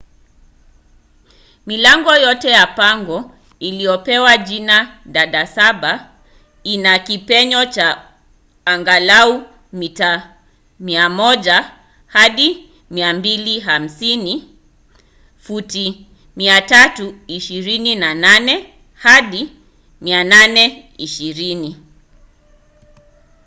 milango yote ya pango iliyopewa jina dada saba ina kipenyo cha angalau mita 100 hadi 250 futi 328 hadi 820